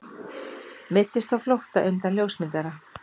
Meiddist á flótta undan ljósmyndara